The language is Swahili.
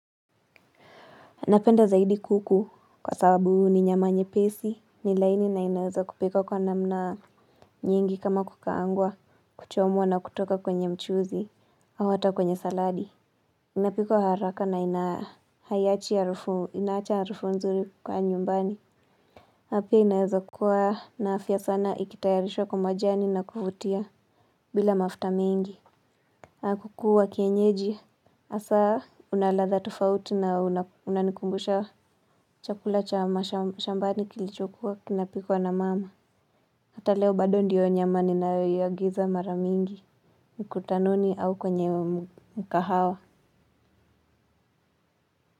Napenda zaidi kuku kwa sababu ni nyama nyepesi, ni laini na inaweza kupikwa kwa namna nyingi kama kukaangwa, kuchomwa na kutoka kwenye mchuzi, au hata kwenye saladi. Inapikwa haraka na ina haiachi harufu inaacha harufu nzuri kwa nyumbani. Na pia inaweza kuwa na afya sana ikitayarishwa kwa majani na kuvutia bila mafuta mingi. Kuku wa kienyeji hasa una ladha tofauti na unanikumbusha chakula cha mashambani kilichokuwa kinapikwa na mama. Hata leo bado ndiyo nyama ninayoiagiza mara mingi mkutanoni au kwenye mkahawa.